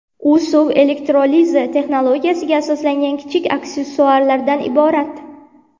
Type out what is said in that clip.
U suv elektrolizi texnologiyasiga asoslangan kichik aksessuarlardan iborat.